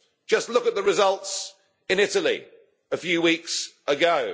Just look at the results in Italy a few weeks ago.